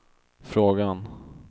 frågan